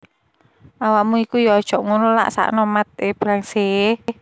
Awakmu iku yo ojok ngunu lhak sakno Matt LeBlanc seh